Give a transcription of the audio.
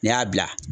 N'i y'a bila